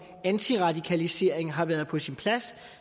antiradikalisering har været på sin plads